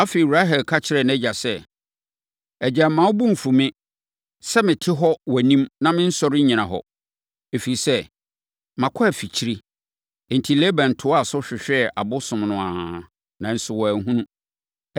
Afei, Rahel ka kyerɛɛ nʼagya sɛ, “Agya, mma wo bo mfu me sɛ mete hɔ wɔ wʼanim na mensɔre nnyina hɔ, ɛfiri sɛ, makɔ afikyire.” Enti, Laban toaa so hwehwɛɛ abosom no ara, nanso wanhunu.